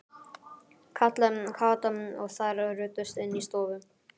kallaði Kata og þær ruddust inn í stofu.